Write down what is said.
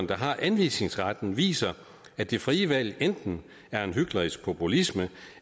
der har anvisningsretten viser at det frie valg enten er hyklerisk populisme